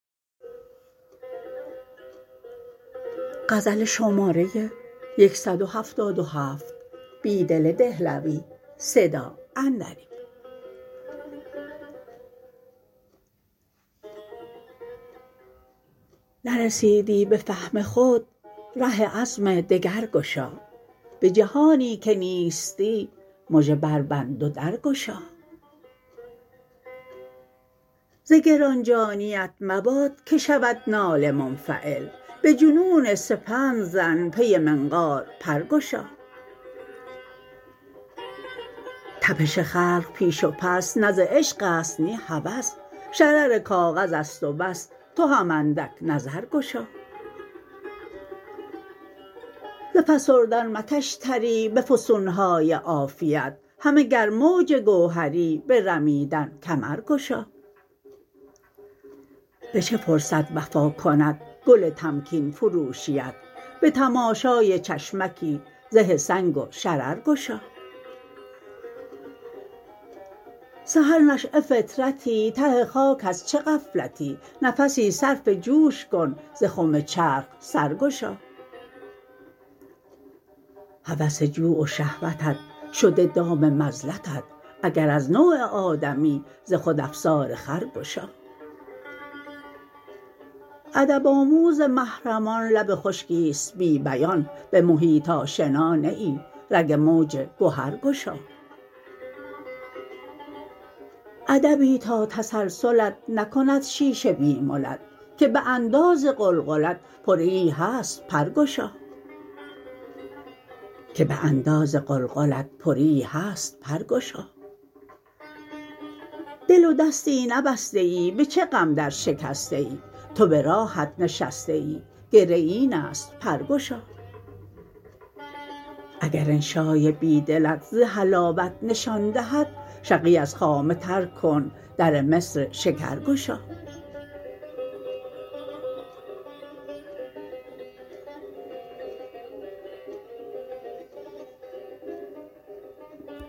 نرسیدی به فهم خود ره عزم دگر گشا به جهانی که نیستی مژه بربند و در گشا ز گران جانی ات مباد که شود ناله منفعل به جنون سپند زن پی منقار پر گشا تپش خلق پیش و پس نه ز عشق است نی هوس شرر کاغذ است و بس تو هم اندک نظر گشا ز فسردن مکش تری به فسونهای عافیت همه گر موج گوهری به رمیدن کمر گشا به چه فرصت وفا کند گل تمکین فروشی ات به تماشای چشمکی زه سنگ وشرر گشا سحر نشیه فطرتی ته خاک از چه غفلتی نفسی صرف جوش کن ز خم چرخ سر گشا هوس جوع و شهوتت شده دام مذلتت اگر از نوع آدمی ز خود افسار خر گشا ادب آموز محرمان لب خشکی است بی بیان به محیط آشنا نه ای رگ موج گوهر گشا ادبی تا تسلسلت نکند شیشه بی ملت که به انداز قلقلت پریی هست پرگشا دل و دستی نبسته ای به چه غم درشکسته ای تو به راهت نشسته ای گره این است برگشا اگر انشای بیدلت ز حلاوت نشان دهد شقی از خامه طرح کن در مصر شکر گشا